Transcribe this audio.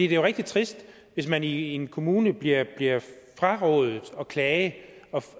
jo rigtig trist hvis man i en kommune bliver frarådet at klage og